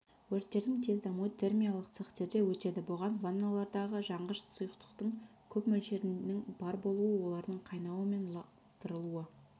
өрттердің тез дамуы термиялық цехтерде өтеді бұған ванналардағы жанғыш сұйықтықтың көп мөлшерінің бар болуы олардың қайнауы мен лақтырылуы